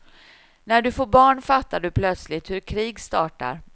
När du får barn fattar du plötsligt hur krig startar.